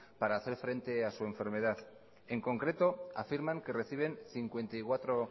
para hacer frente a su enfermedad en concreto afirman que reciben cincuenta y cuatro